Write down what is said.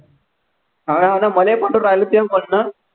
हा आता मले पटून राहिलं तूह्य म्हणणं